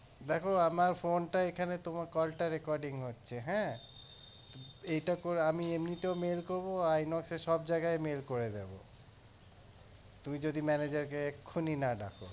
দেখো আমার phone টা এখানে তোমার call টা recording হচ্ছে হ্যাঁ আমি এমনিতেও mail করবো Inox এ সবজায়গায় mail করে দেব তুমি যদি manager কে এক্ষুনি না ডাকো